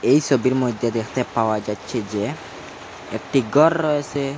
এই সোবির মইধ্যে দেখতে পাওয়া যাচ্ছে যে একটি গরর রয়েসে।